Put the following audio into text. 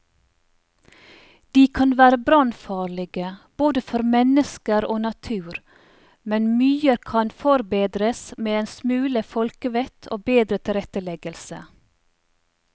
De kan være brannfarlige både for mennesker og natur, men mye kan forbedres med en smule folkevett og bedre tilretteleggelse.